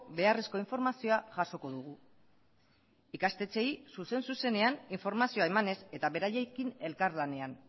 beharrezko informazioa jasoko dugu ikastetxeei zuzen zuzenean informazioa emanez eta beraiekin elkarlanean